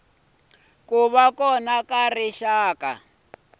ku va kona ka rixaka